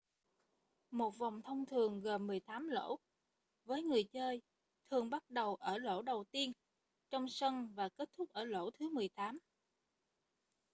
một vòng thông thường gồm mười tám lỗ với người chơi thường bắt đầu ở lỗ đầu tiên trong sân và kết thúc ở lỗ thứ mười tám